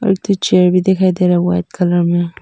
पीछे भी दिखाई दे रहा है वाइट कलर में।